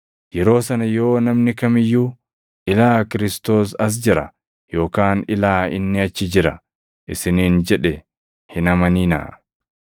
Yeroo sana yoo namni kam iyyuu, ‘Ilaa Kiristoos as jira!’ yookaan ‘Ilaa, inni achi jira!’ isiniin jedhe hin amaninaa.